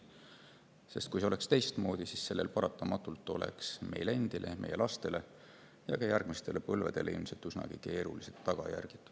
Sest kui see oleks teistmoodi, siis oleks sellel paratamatult meile endile, meie lastele ja ka järgmistele põlvedele ilmselt üsnagi keerulised tagajärjed.